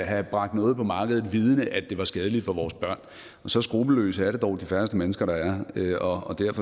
have bragt noget på markedet vel vidende at det var skadeligt for vores børn og så skruppelløse er det dog de færreste mennesker der er